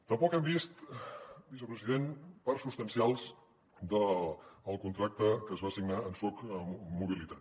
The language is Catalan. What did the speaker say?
tampoc hem vist vicepresident parts substancials del contracte que es va signar amb soc mobilitat